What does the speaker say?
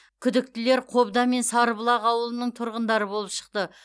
күдіктілер қобда мен сарыбұлақ ауылының тұрғындары болып шықты